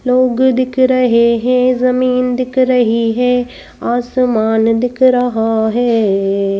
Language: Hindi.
लोग दिख रहे हैं जमीन दिख रही है आसमान दिख रहा है।